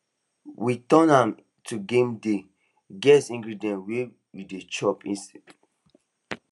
we turn am to gamedey guess ingredients as we dey chop mystery snack